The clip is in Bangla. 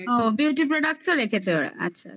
ও beauty product রেখেছে ওরা. আচ্ছা